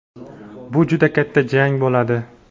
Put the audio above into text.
bu juda katta jang bo‘ladi.